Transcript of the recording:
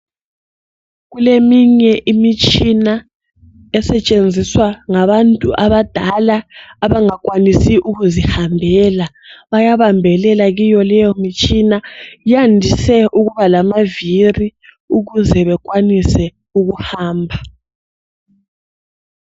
Kuleminye imitshina esentshenziswa ngabantu ngabadala abakwanisi ukuzihambela bayabambelela kuleyo mtshina. Yandise ukubalamaviri ukuze bekwanise ukuhamba.